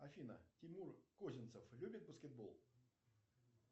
афина тимур козинцев любит баскетбол